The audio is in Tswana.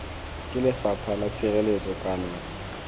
ke lefapha la tshireletso kana